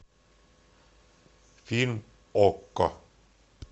фильм окко